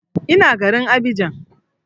Ina garin Abidjan